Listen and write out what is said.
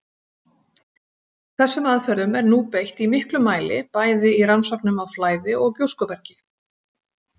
Þessum aðferðum er nú beitt í miklum mæli bæði í rannsóknum á flæði- og gjóskubergi.